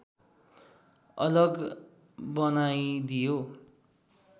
अलग बनाइदियो